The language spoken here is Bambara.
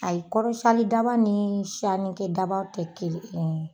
A ye kɔrɔ siyanli daba ni siyannikɛ dabaw tɛ kelen ye